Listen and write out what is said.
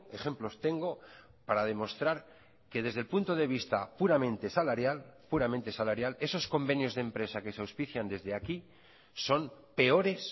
ejemplos tengo para demostrar que desde el punto de vista puramente salarial puramente salarial esos convenios de empresa que se auspician desde aquí son peores